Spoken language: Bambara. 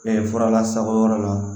fura lasago yɔrɔ la